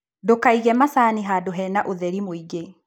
Ndũkaige macani handũ hena ũtheri mũingĩ.